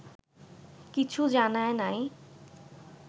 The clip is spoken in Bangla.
কিছু জানায় নাই